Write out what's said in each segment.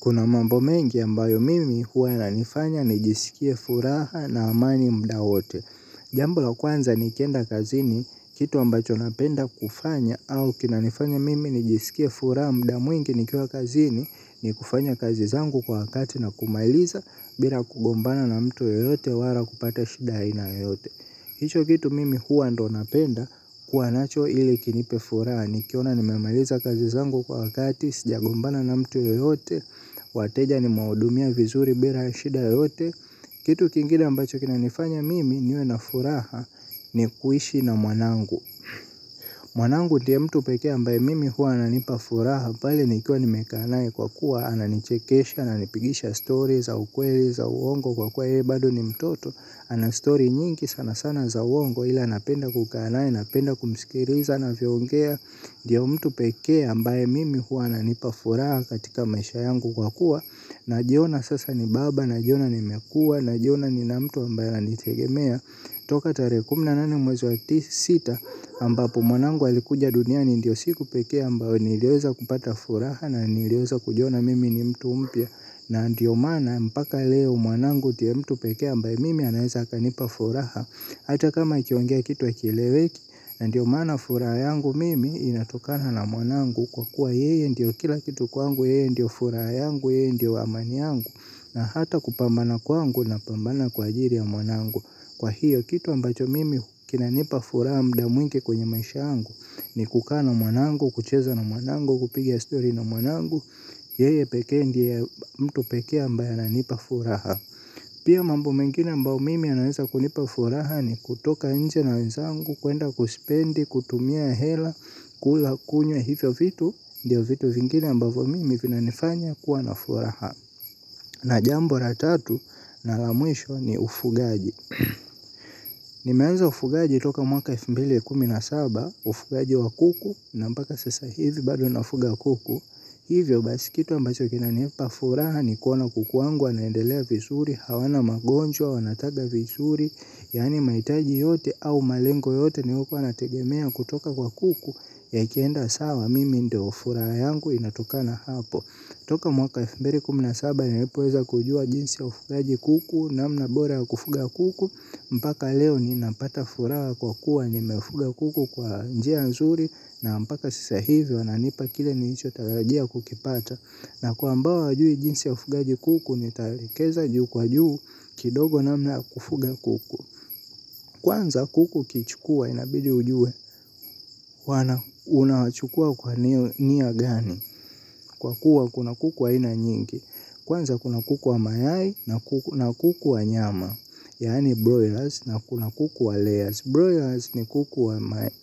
Kuna mambo mengi ambayo mimi huwa inanifanya ni jisikie furaha na amani mda wote. Jambo la kwanza nikienda kazini kitu ambacho napenda kufanya au kinanifanya mimi nijisikie furaha mda mwingi nikiwa kazini ni kufanya kazi zangu kwa wakati na kumaliza bila kugombana na mtu yoyote wala kupata shida aina yoyote. Hicho kitu mimi huwa ndo napenda kuwa nacho ili kinipe furaha. Nikiona nimemaliza kazi zangu kwa wakati, sijagombana na mtu yoyote, wateja ni meudumia vizuri bira shida yoyote. Kitu kingine ambacho kinanifanya mimi niwe na furaha ni kuishi na mwanangu. Mwanangu ndiye mtu pekee ambaye mimi hua anipafuraha. Pale nikua nimekanae kwa kuwa ananichekesha, ananipigisha stories au kweri, za uongo kwa kuwa yeye bado ni mtoto. Ana story nyingi sana sana za uongo. Ila anapenda kukanae, anapenda kumsikiriza, anafiongea ndiye mtu pekee ambaye mimi hua anipafuraha katika maisha yangu kwa kuwa najiona sasa ni baba, najiona nimekua. Najiona ni na mtu ambaye ananitegemea. Toka tare kumi na nane mwezi wa tisita ambapo mwanangu alikuja dunia ni ndiyo siku pekea ambao niliweza kupata furaha na nilioza kujiona mimi ni mtu mpia. Na ndiyo mana mpaka leo mwanangu ndiye mtu pekee ambaye mimi anaheza kanipa furaha. Hata kama akiongea kitu akileweki na ndiyo mana furaha yangu mimi inatokana na mwanangu kwa kuwa yeye ndiyo kila kitu kwangu yeye ndiyo furaha yangu yeye ndiyo amani yangu. Na hata kupambana kwa angu napambana kwa ajiri ya mwanangu. Kwa hiyo kitu ambacho mimi kinanipa furaha mda mwingi kwenye maisha yangu. Ni kuka na mwanangu, kucheza na mwanangu, kupigia story na mwanangu. Yeye peke ndiye mtu peke ambaye ananipa furaha. Pia mambo mengine ambao mimi ananeza kunipa furaha ni kutoka nje na wenzangu. Kuenda kuspendi, kutumia hela, kula kunywa hivyo vitu. Ndiyo vitu vingine ambao mimi vinanifanya kuwa na furaha. Na jambo la tatu na ra mwisho ni ufugaji. Nimeanza ufugaji toka mwaka elfu mbili kuminasaba. Ufugaji wa kuku na mpaka sasa hivi bado nafuga kuku. Hivyo basi kitu ambacho kinanipa furaha ni kuona kuku wangu wanaendelea visuri. Hawana magonjwa wana taga visuri. Yani maitaji yote au malengo yote ni huku wana tegemea kutoka kwa kuku. Ya ikienda sawa mimi ndo furaha yangu inatokana hapo. Toka mwaka elfu mbili na kumi na saba nilipoweza kujua jinsi ya ufugaji kuku namna bora ya kufuga kuku. Mpaka leo ninapata furaha kwa kuwa nimefuga kuku kwa njia nzuri na mpaka sasa hivi wananipa kile nilichotarajia kukipata. Na kwa ambao hawajui jinsi ya ufugaji kuku nitaelekeza juu kwa juu kidogo namna ya kufuga kuku. Kwanza kuku ukichukua inabidi ujue wana unawachukua kwa niya gani kwa kua kuna kuku wa aina nyingi. Kwanza kuna kuku wa mayai na kuku wa nyama yani broilers na kuna kuku wa layers. Broilers ni kuku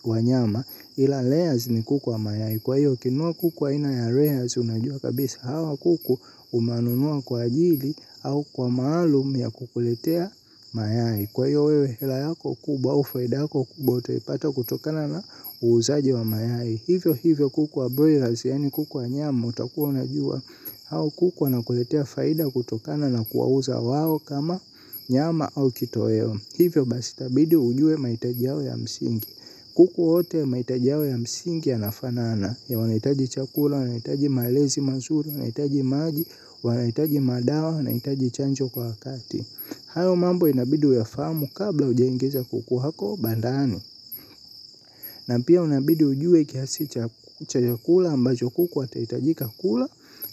wa nyama ila layers ni kuku wa mayai. Kwa hiyo ukinunua kuku wa aina ya layers unajua kabisa hawa kuku umewanunua kwa ajili au kwa maalum ya kukuletea mayai. Kwa hiyo wewe hela yako kubwa au faida yako kubwa utaipata kutokana na uuzaji wa mayai. Hivyo hivyo kuku wa broilers yani kuku wa nyama utakuwa unajua hao kuku wanakuletea faida kutokana na kuwauza wao kama nyama au kitoeo. Hivyo basi itabidi ujue mahitaji yao ya msingi. Kuku wote mahitaji yao ya msingi yanafanana ya wanahitaji chakula, wanahitaji malezi mazuri, wanahitaji magi, wanahitaji madawa, wanahitaji chanjo kwa wakati. Hayo mambo inabidi uya fahamu kabla ujaingiza kuku wako bandani. Na pia unabidi ujue kiasi cha chakula ambacho kuku watahitajika kula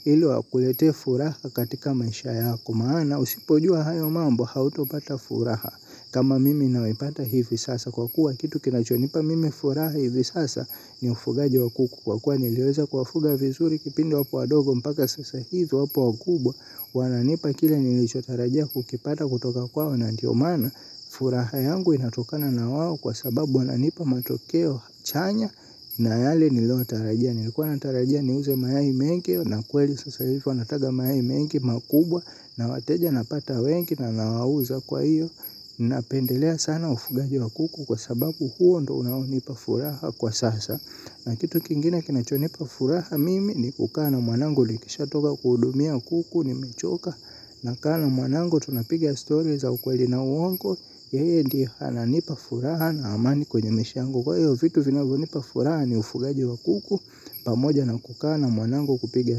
ili wakuletee furaha katika maisha yako maana usipojua hayo mambo hauto pata furaha kama mimi inawepata hivi sasa kwa kuwa kitu kinachonipa mimi furaha hivi sasa ni ufugaji wa kuku kwa kuwa niliweza kuwafuga vizuri kipindi wapo wadogo mpaka sasa hivi wapowakubwa wananipa kile nilichotarajia kukipata kutoka kwao na ndiomaana furaha yangu inatokana na wawo kwa sababu wananipa matokeo chanya na yale nilotarajia nilikuwa natarajia niuze maya mengi na kweli sasa hivo wanataga mayai mengi makubwa na wateja napata wengi na nawauza kwa hiyo napendelea sana ufugaji wa kuku kwa sababu huo ndo unawonipa furaha kwa sasa na kitu kingine kinachonipa furaha mimi ni kukaa na mwanangu likisha toka kuhudumia kuku nimechoka. Na kaa na mwanangu tunapigia stories za kweli na uongo yeye ndiye ananipa furaha na amani kwenye maisha yangu. Kwa hiyo vitu vinavyo nipa furaha ni ufugaji wa kuku. Pamoja na kukaa na mwanangu kupiga.